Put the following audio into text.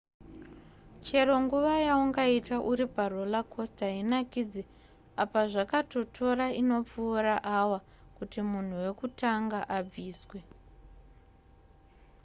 chero nguva yaungaite uri paroller coaster hainakidze apa zvakatotora inopfuura awa kuti munhu wekutanga abviswe